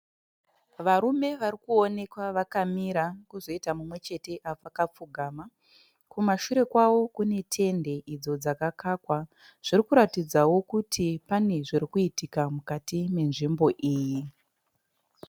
Varume varikuonekwa vakamira kuzoitawo umwe chete akapfugama. Kumashure kwavo kune tende idzo dzakakakwa. Zviri kuratidzawo kuti pane zviri kuitika mukati menzvimbo iyi.